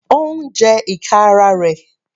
Ó ń jẹ ìka ara rẹ̀.